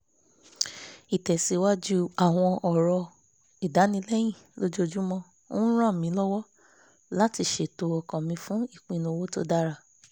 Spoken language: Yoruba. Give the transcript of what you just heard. ìtẹ̀síwájú àwọn ọ̀rọ̀ ìdánilẹ́yìn lojoojúmọ́ ń ràn mí lọ́wọ́ láti ṣètò ọkàn mi fún ipinnu owó tó dára